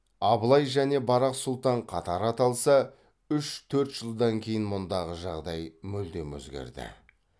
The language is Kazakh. абылай және барақ сұлтан қатар аталса үш төрт жылдан кейін мұндағы жағдай мүлдем өзгерді